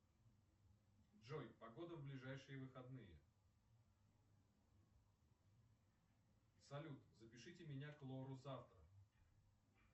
джой погода в ближайшие выходные салют запишите меня к лору завтра